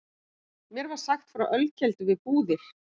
Mér var sagt frá ölkeldu við Búðir.